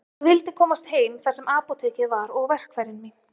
Ég vildi komast heim þar sem apótekið var og verkfærin mín.